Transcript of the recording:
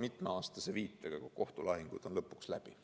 mitmeaastase viitega, siis, kui kohtulahingud on lõpuks läbi.